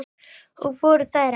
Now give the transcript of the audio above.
Og voru þær ekki litlar.